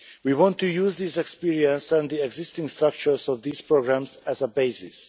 We want to use this experience and the existing structures of these programmes as a basis.